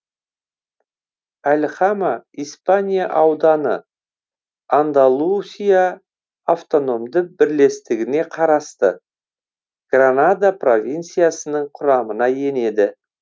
альхама испания ауданы андалусия автономды бірлестігіне қарасты гранада провинциясының құрамына енеді